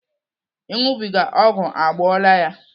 Ịṅụbiga ọgwụ egbuola ya.